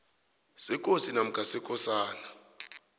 sekosi namkha sekosana